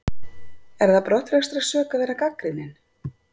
Er það brottrekstrarsök að vera gagnrýninn?